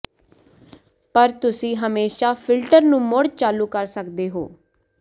ਪਰ ਤੁਸੀਂ ਹਮੇਸ਼ਾ ਫਿਲਟਰ ਨੂੰ ਮੁੜ ਚਾਲੂ ਕਰ ਸਕਦੇ ਹੋ